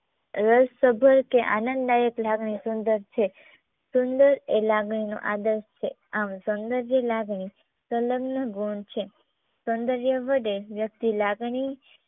રસસભર કે આનંદદાયક લાગણી સુંદર છે સુંદર એ લાગણીનો આદર્શ છે આમ સૌંદર્ય લાગણી સૌંદયનો ગુણ છે સૌંદર્ય વધે વ્યક્તિ લાગણી